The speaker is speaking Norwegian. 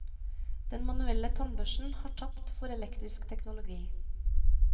Den manuelle tannbørsten har tapt for elektrisk teknologi.